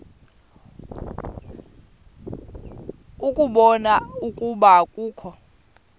ukubona ukuba akukho